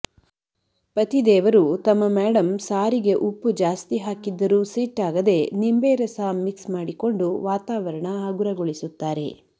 ಪತಿದೇವರು ತಮ್ಮ ಮ್ಯಾಡಂ ಸಾರಿಗೆ ಉಪ್ಪು ಜಾಸ್ತಿ ಹಾಕಿದ್ದರೂ ಸಿಟ್ಟಾಗದೆ ನಿಂಬೆ ರಸ ಮಿಕ್ಸ್ ಮಾಡಿಕೊಂಡು ವಾತಾವರಣ ಹಗುರಗೊಳಿಸುತ್ತಾರೆ